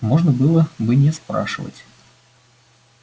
можно было бы не спрашивать